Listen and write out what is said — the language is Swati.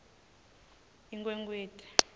inkhwekhweti